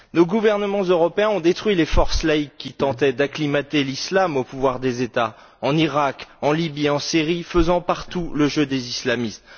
Nos gouvernements européens ont détruit les forces laïques qui tentaient d'acclimater l'islam au pouvoir des États en Iraq, en Syrie, en Libye, faisant partout le jeu des islamistes.